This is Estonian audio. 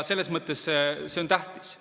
Selles mõttes see on tähtis.